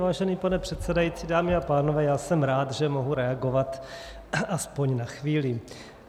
Vážený pane předsedající, dámy a pánové, já jsem rád, že mohu reagovat aspoň na chvíli.